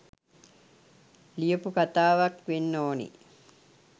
ලියපු කතාවක් වෙන්න ඕනෙ